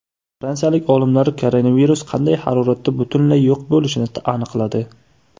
Fransiyalik olimlar koronavirus qanday haroratda butunlay yo‘q bo‘lishini aniqladi.